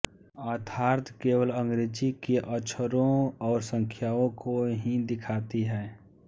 अर्थात केवल अंग्रेज़ी के अक्षरों और संख्याओं को ही दिखाती है